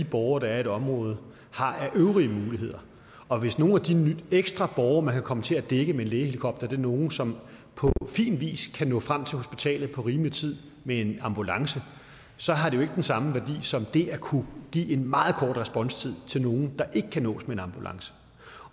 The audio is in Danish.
de borgere der er i et område har af øvrige muligheder og hvis nogle af de ekstra borgere man kan komme til at dække med en lægehelikopter er nogle som på fin vis kan nå frem til hospitalet på rimelig tid med en ambulance så har det jo ikke den samme værdi som det at kunne give en meget kort responstid til nogle der ikke kan nås med en ambulance